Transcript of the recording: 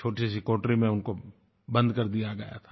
छोटी सी कोठरी में उनको बंद कर दिया गया था